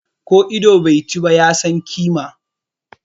Ko ido bai chi ba, ya san kima.